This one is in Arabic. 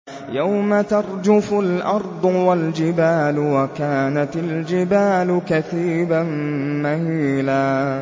يَوْمَ تَرْجُفُ الْأَرْضُ وَالْجِبَالُ وَكَانَتِ الْجِبَالُ كَثِيبًا مَّهِيلًا